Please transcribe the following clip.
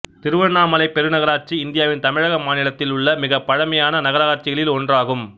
திருவண்ணாமலை பெருநகராட்சி இந்தியாவின் தமிழக மாநிலத்தில் உள்ள மிகப் பழமையான நகராட்சிகளில் ஒன்றாகும்